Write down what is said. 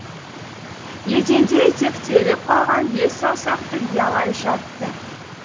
еденде итектеліп қалған бес саусақты биялай жатты